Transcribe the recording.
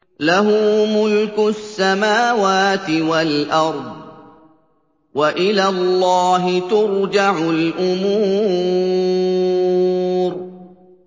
لَّهُ مُلْكُ السَّمَاوَاتِ وَالْأَرْضِ ۚ وَإِلَى اللَّهِ تُرْجَعُ الْأُمُورُ